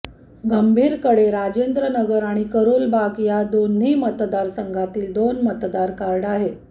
गंभीरकडे राजेंद्र नगर आणि करोल बाग या दोन्ही मतदारसंघातील दोन मतदार कार्ड आहेत